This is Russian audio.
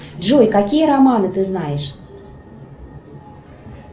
джой какие романы ты знаешь